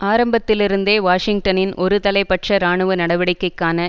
ஆரம்பத்திலிருந்தே வாஷிங்டனின் ஒரு தலைப்பட்ச இராணுவ நடவடிக்கைக்கான